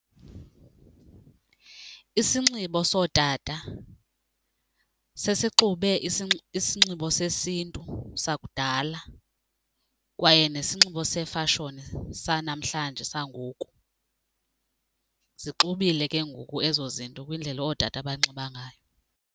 Isinxibo sootata sesixube isinxibo sesiNtu sakudala kwaye nesinxibo sefashoni sanamhlanje sangoku. Zixubile ke ngoku ezo zinto kwindlela ootata abanxiba ngayo.